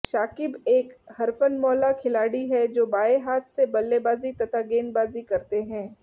शाकिब एक हरफनमौला खिलाड़ी है जो बाएं हाथ से बल्लेबाज़ी तथा गेंदबाजी करते हैं